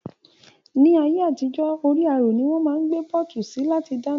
Ni ayé àtijó, orí àrò ni wón máa ń gbé pọ́ọ̀tù sí láti dáná